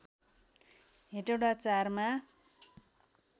हेटौँडा ४ मा